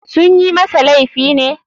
Sunyi masa laifi ne.